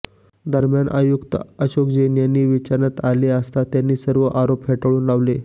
दरम्यान आयुक्त अशोक जैन यांना विचारण्यात आले असता त्यांनी सर्व आरोप फेटाळून लावले